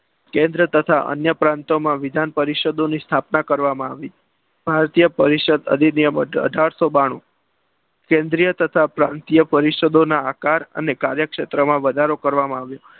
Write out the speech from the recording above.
કેન્દ્ર તથા અન્ય પ્રાંતોમાં વિધાન પરિષદોની સ્થાપના કરવામાં આવી. ભારતીય પરિષદ અધિનિયમ મુજબ અઢારસો બાણુ કેન્દ્રીય તથા પ્રાંતિય પરિષદો ના આકાર અને કાર્યક્ષેત્ર માં વધારો કરવામાં આવ્યો.